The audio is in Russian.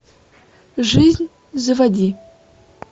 жизнь заводи